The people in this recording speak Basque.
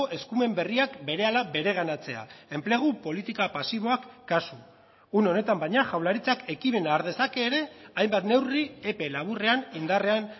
eskumen berriak berehala bereganatzea enplegu politika pasiboak kasu une honetan baina jaurlaritzak ekimena har dezake ere hainbat neurri epe laburrean indarrean